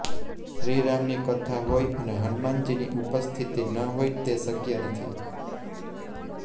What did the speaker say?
શ્રીરામની કથા હોય અને હનુમાનજીની ઉપસ્થિતિ ન હોય તે શક્ય નથી